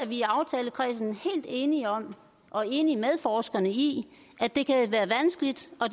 vi i aftalekredsen helt enige om og enige med forskerne i at det kan være vanskeligt og